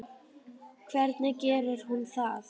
Hvernig gerir hún það?